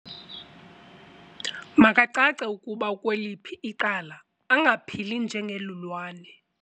Makacace ukuba ukweliphi icala angaphili njengelulwane.